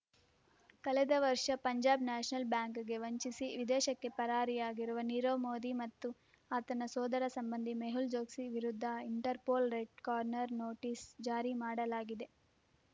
ಕಳೆದ ವರ್ಷ ಪಂಜಾಬ್ ನ್ಯಾಷನಲ್ ಬ್ಯಾಂಕ್‌ಗೆ ವಂಚಿಸಿ ವಿದೇಶಕ್ಕೆ ಪರಾರಿಯಾಗಿರುವ ನೀರವ್ ಮೋದಿ ಮತ್ತು ಆತನ ಸೋದರ ಸಂಬಂಧಿ ಮೆಹುಲ್ ಚೊಕ್ಸಿ ವಿರುದ್ಧ ಇಂಟರ್‌ಪೋಲ್ ರೆಡ್ ಕಾರ್ನರ್ ನೋಟಿಸ್ ಜಾರಿ ಮಾಡಲಾಗಿದೆ